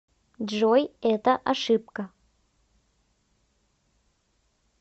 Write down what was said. джой это ошибка